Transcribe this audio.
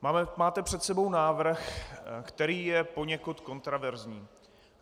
Máte před sebou návrh, který je poněkud kontroverzní.